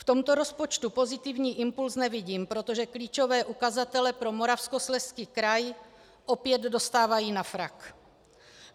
V tomto rozpočtu pozitivní impuls nevidím, protože klíčové ukazatele pro Moravskoslezský kraji opět dostávají na frak.